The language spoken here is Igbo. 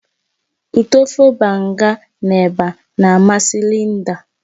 Utọ ofe banga na eba na amasị Linda